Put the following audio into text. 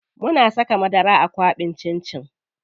Muna saka madara a kwaɓin cin cin.